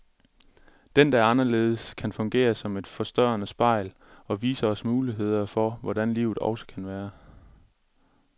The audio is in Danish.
Den, der er anderledes, kan fungere som et forstørrende spejl, og vise os muligheder for hvordan livet også kan være.